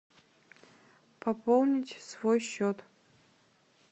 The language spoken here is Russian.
пополнить свой счет